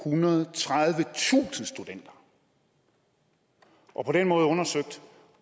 tohundrede og tredivetusind studenter og på den måde undersøgt